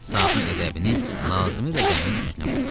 Saatin əqrəbini lazımi rəqəmin üstünə qoydu.